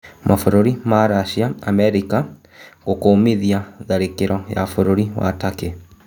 Mabũrũri ma Racia na Amerika gũkũmithia tharĩ kiro bũrũri-inĩ wa Takĩ